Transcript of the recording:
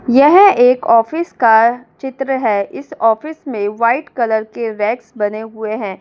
यह एक ऑफिस का चित्र है इस ऑफिस में वाइट कलर के रेग्स बने हुए हैं।